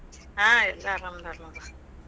ಹಾ ಎಲ್ಲಾ ಆರಾಮದಾರ ನೋಡ್ವಾ.